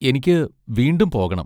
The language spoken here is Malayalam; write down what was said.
എനിക്ക് വീണ്ടും പോകണം.